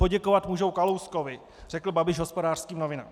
Poděkovat můžou Kalouskovi," řekl Babiš Hospodářským novinám.